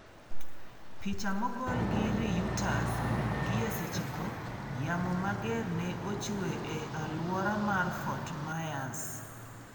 Picha mogol gi Reuters Gie sechego, yamo mager ne ochue e alwora mar Fort Myers.